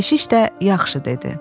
Keşiş də yaxşı dedi.